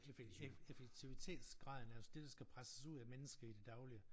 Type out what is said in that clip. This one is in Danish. Effektivitetsgraden altså det der skal presses ud af mennesket i det daglige